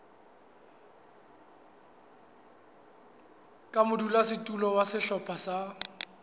ka modulasetulo wa sehlopha sa